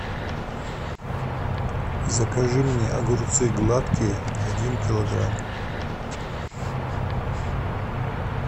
закажи мне огурцы гладкие один килограмм